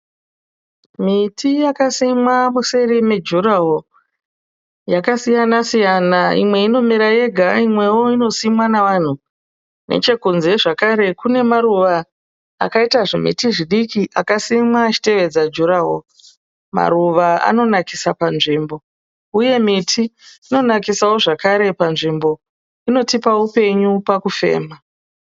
Miti yakasimwa museri mejuraworo. Yakasiyana siyana imwe inomera yega, imwewo inosimwa navanhu. Nechekunze zvakare kune maruva akaita zvimiti zvidiki akasimwa achitevedza juraworo. Maruva anonakisa panzvimbo uye miti inonakisawo zvakare panzvimbo. Inotipa upenyu pakufema.